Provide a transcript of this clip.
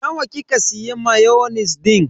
Nawa kika siya mayonis din?